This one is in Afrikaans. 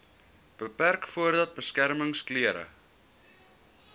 beperk voordat beskermingsklere